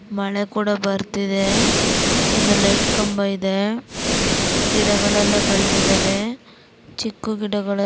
ಮಳೆ ಭಾರತಿದೆ ಲೈಟ್ ಕಂಬ ಕೂಡಾ ಇದೆ ಚಿಕ್ಕ ಗಿಡಗಳು ಇವೆ